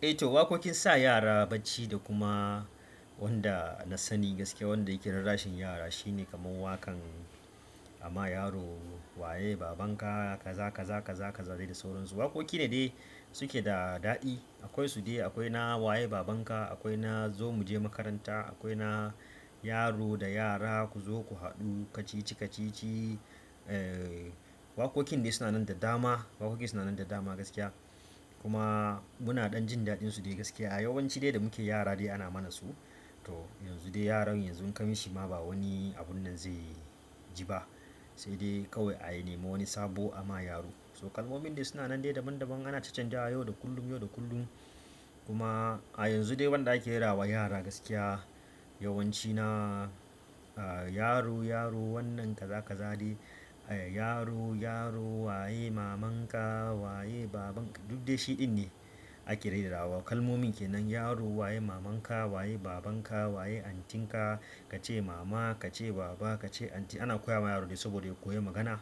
Eh to waƙoƙin sa yara bacci da kuma wanda na sani gaskiya wanda yake rarrashin yara shine kamar waƙan ama yaro waye babanka ka zaka zaka zaka dai da sauransu. Waƙoƙi ne dai suke da daɗi. Akwai su de akwai na waye babanka, akwai na zo muje makaranta, akwai na yaro da yara ku zo ku haɗu kacici-kacici. Waƙoƙin dai suna nan da dama, waƙoƙin suna nan da dama gaskiya kuma muna ɗan jin daɗinsu dai gaskiya. A yawanci dai da muke yara dai ana mana su to yanzu dai yaran yanzu kam shi ma ba wani abun nan zai ji ba sai dai kawai a yi nema wani sabo amma yaro. So kalmomin dai suna nan dai daban daban ana chanchanzawa yau da kullum yau da kullum kuma a yanzu dai wanda ake rerawa yara gaskiya, yawanci na yaro yaro wannan kaza kaza de, yaro yaro waye mamanka, waye babanka, duk de shi ɗin ne dai ake rera wa. Kalmomin kenan yaro waye mamanka, waye babanka, waye antinka, ka ce mama, ka ce baba, ka ce anti ana koya ma yaro dai saboda ya koyi magana